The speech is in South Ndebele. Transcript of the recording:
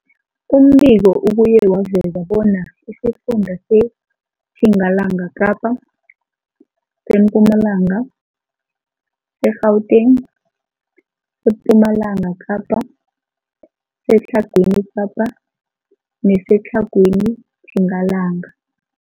Umbiko ubuye waveza bona isifunda seTjingalanga Kapa, seMpumalanga, seGauteng, sePumalanga Kapa, seTlhagwini Kapa neseTlhagwini Tjingalanga.